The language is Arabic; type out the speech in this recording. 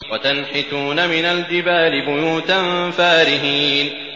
وَتَنْحِتُونَ مِنَ الْجِبَالِ بُيُوتًا فَارِهِينَ